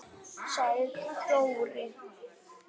sagði Dóri.